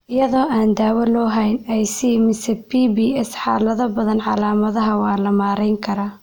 Iyadoo aan dawo loo hayn IC mise PBS, xaalado badan, calaamadaha waa la maarayn karaa.